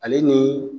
Ale ni